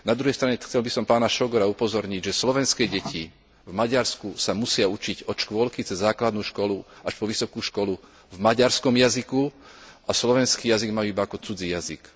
Na druhej strane, chcel by som pána Sógora upozorniť, že slovenské deti v Maďarsku sa musia učiť od škôlky, cez základnú školu až po vysokú školu v maďarskom jazyku a slovenský jazyk majú iba ako cudzí jazyk.